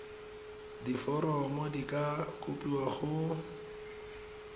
diforomo di ka kopiwa go